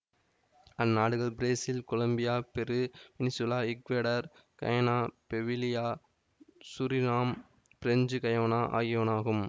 அந்நாடுகள் Brazil Colombia Peru Venezuela Ecuador Guyana Bolivia Suriname French Guiana ஆகியனவாகும்